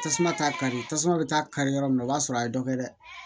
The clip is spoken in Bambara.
Tasuma t'a kari tasuma bɛ t'a kari yɔrɔ min na o b'a sɔrɔ a ye dɔ kɛ dɛ